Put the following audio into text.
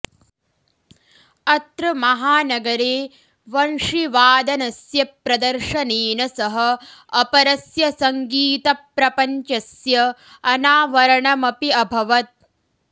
अत्र महानगरे वंशिवादनस्य प्रदर्शनेन सह अपरस्य सङगीतप्रपञ्चस्य अनावरणमपि अभवत्